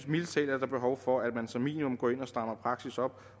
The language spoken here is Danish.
mildest talt er behov for at man som minimum går ind og strammer praksis op